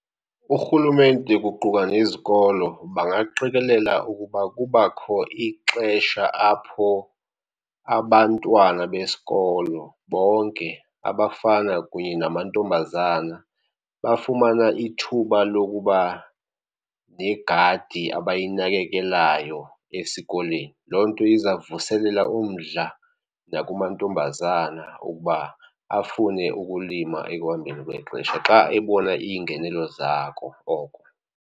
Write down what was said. Urhulumente kuquka nezikolo bangaqikelela ukuba kubakho ixesha apho abantwana besikolo bonke, abafana kunye namantombazana bafumana ithuba lokuba negadi abayinakekelayo esikolweni. Loo nto iza kuvuselela umdla nakumantombazana ukuba afune ukulima ekuhambeni kwexesha xa ebona iingenelo zako oko.